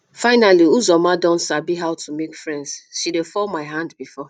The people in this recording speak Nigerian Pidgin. finally uzoma don sabi how to make friends she dey fall my hand before